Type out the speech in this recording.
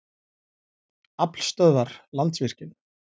Aflstöðvar- Landsvirkjun.